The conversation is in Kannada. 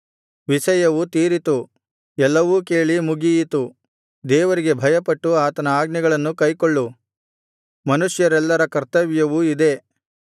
ವಿಷಯವು ತೀರಿತು ಎಲ್ಲವೂ ಕೇಳಿ ಮುಗಿಯಿತು ದೇವರಿಗೆ ಭಯಪಟ್ಟು ಆತನ ಆಜ್ಞೆಗಳನ್ನು ಕೈಕೊಳ್ಳು ಮನುಷ್ಯರೆಲ್ಲರ ಕರ್ತವ್ಯವು ಇದೇ